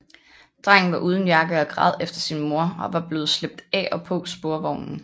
Drengen var uden jakke og græd efter sin mor og var blevet slæbt af og på sporvognen